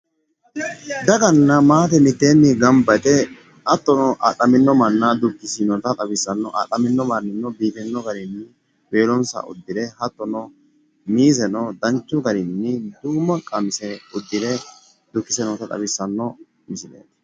Daganna maate mitteenni gamba yite hattono adhamino manna dukkissinota xawissanno adhamino mannino biifinno garinni weelonsa uddire hattono miizeno danchu garinni duumma qamise uddire noota xawissanno misileeti